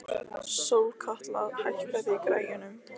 Sólkatla, hækkaðu í græjunum.